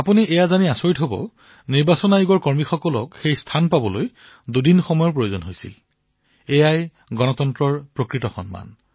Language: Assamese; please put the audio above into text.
আপুনি এয়া জানি আচৰিত হব যে নিৰ্বাচন আয়োগৰ বিষয়াসকলে সেই স্থান পাবলৈ দুদিন পৰ্যন্ত যাত্ৰা কৰিবলগীয়া হৈছিল এয়াইতো গণতন্ত্ৰৰ প্ৰতি প্ৰকৃত সন্মান